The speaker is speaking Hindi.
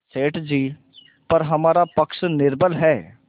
सेठ जीपर हमारा पक्ष निर्बल है